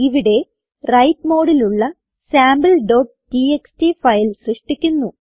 ഇവിടെ വ്രൈറ്റ് മോഡിലുള്ള sample TXT file സൃഷ്ടിക്കുന്നു